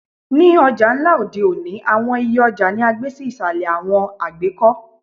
Ni ọja nla odẹ́ oni, awọn iyẹ ọja ni a gbe si isalẹ awọn àgbekọ